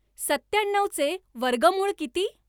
सत्याण्णवचे वर्गमूळ किती